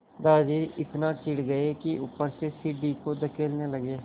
दादाजी इतना चिढ़ गए कि ऊपर से सीढ़ी को धकेलने लगे